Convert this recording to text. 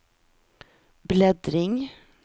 bläddring